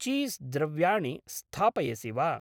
Cheese द्रव्याणि स्थापयसि वा?